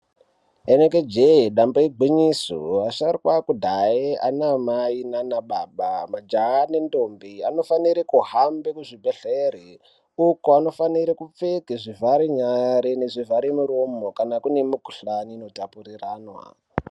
Rinenge je damba igwinyiso asharukwa ekudhaya ana mai nana baba majaha nendombi anofanira kuhamba muzvibhedhlera uko anofanira kupfeka zvivhare nyara nezvivhara muromo kana kune mikuhlani inotapuriranwa.